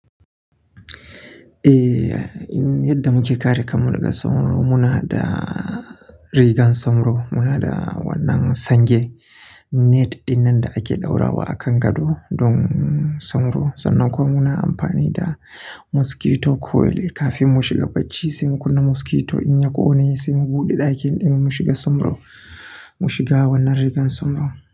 Eh, yadda muke kare kanmu daga sauro, muna da rigan sauro Muna da wannan sange net dinnan da ake ɗaura wa a kan gado don sauro. Sannan kuwa muna amfani da mosquito coil kafin mu shiga bacci, sai kunna mosquito in ya ƙone sai mu buɗe ɗakin ɗin mu shiga sauro mu shiga wannan rigan sauro.